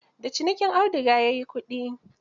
Da cinikin auduga ya yi kudi.